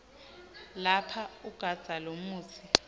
lapha ugandza lomutsi